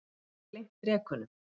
Hún hafði gleymt drekunum.